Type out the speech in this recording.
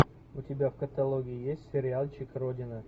у тебя в каталоге есть сериальчик родина